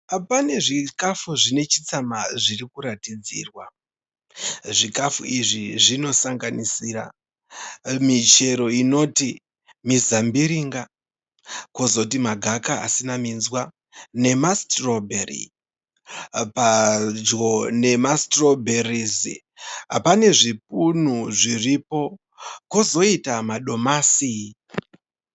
Pane zvikafu zvine chitsamha zviri kuratidzirwa. Zvikafu izvi zvinosanganisira michero inoti mizambiringa pozoti magaka asina minzwa nemasitirobheri. Padyo nemasitorobherizi pane zvipunu zviripo pozoita madomasi.